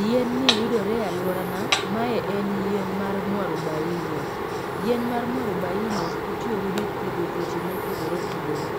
Yien ni yudore e alworana, mae en yien mar mwarubaine. Yien mar mwarubaine, itiyo godo e thiedho tuoche mopogore opogore.